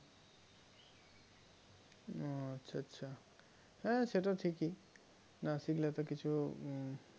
হম আচ্ছা আচ্ছা হ্যাঁ সেটা ঠিকই না শিখলে তো কিছু হম